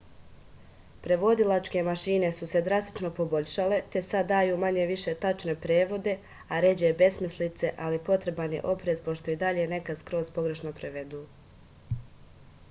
преводилачке машине су се драстично побољшале те сад дају мање-више тачне преводе а ређе бесмислице али потребан је опрез пошто и даље некад скроз погрешно преведу